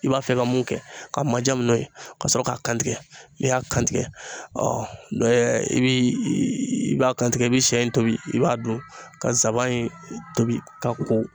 I b'a fɛ ka mun kɛ k'a majamu n'o ye ka sɔrɔ k'a kantigɛ n'i y'a kantigɛ ɔ i bɛ i b'a kantigɛ i bɛ sɛ in tobi i b'a dun ka nsaban in tobi ka ko